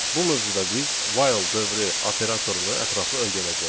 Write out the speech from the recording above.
Bu mövzuda biz while dövrü operatorunu ətraflı öyrənəcəyik.